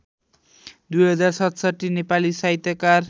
२०६७ नेपाली साहित्यकार